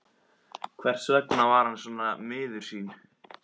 Hvers vegna var hann svona miður sín?